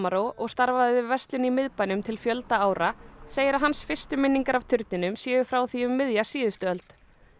og starfaði við verslun í miðbænum til fjölda ára segir að hans fyrstu minningar af turninum séu frá því um miðja síðustu öld